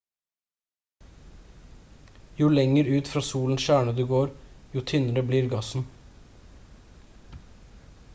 jo lenger ut fra solens kjerne du går jo tynnere blir gassen